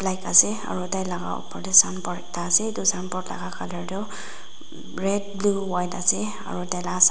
ase aro tailaga opor dae signboard ekta ase etu signboard laga tuh red blue white ase aro taila sam--